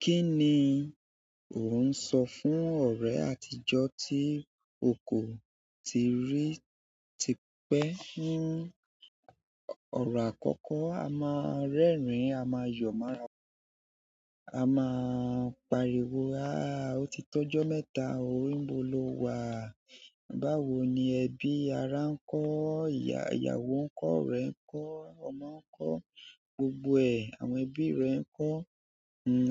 Kí ni ò ń sọ fún ọ̀rẹ́ àtijọ́ tí o kò tíì rí tipẹ́? Ọ̀rọ̀ àkọ́kọ́, a máa ń rẹ́rìn-ín, a máa yọ̀ mọ ra, a máa pariwo, "Aáà, ó ti tó ọjọ́ mẹ́ta o, nibo ló wà." Báwo ni ẹbí ara ń kọ́, ìyàwó ìyàwó ń kọ́, ọ̀rẹ́ ń kọ́, ọmọ ń kọ́, gbogbo ẹ̀, àwọn ẹbí rẹ ń kọ́.